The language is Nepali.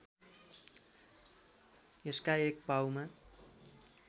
यसका एक पाउमा